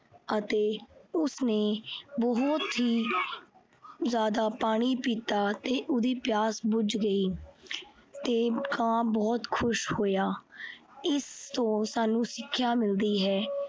ਅਤੇ ਉਸਨੇ ਬਹੁਤ ਹੀ ਜਿਆਦਾ ਪਾਣੀ ਪੀਤਾ ਤੇ ਉਹਦੀ ਪਿਆਸ ਬੁਝ ਗਈ ਤੇ ਕਾਂ ਬਹੁਤ ਖੁਸ਼ ਹੋਇਆ। ਇਸ ਤੋਂ ਸਾਨੂੰ ਸਿੱਖਿਆ ਮਿਲਦੀ ਹੈ